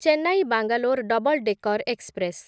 Chennai Bangalore double decker express